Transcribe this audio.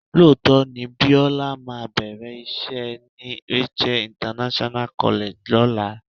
Lóòótọ́ ni Bíọ́lá máa bẹ̀rẹ̀ iṣẹ́ ni Rachael International College lọ́la.